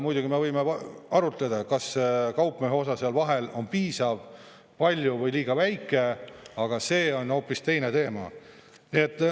Muidugi me võime arutada, kas kaupmehe osa seal vahel on piisav, palju või liiga väike, aga see on hoopis teine teema.